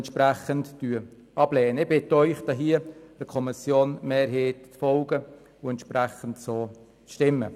Ich bitte Sie, der Kommissionsmehrheit zu folgen und entsprechend abzustimmen.